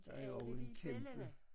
Der er jo også en kæmpe